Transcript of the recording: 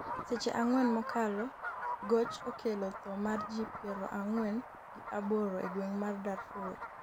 seche ang'wen mokalo goch okelo tho mar ji piero ang'wen gi aboro e gwenge mag Darfur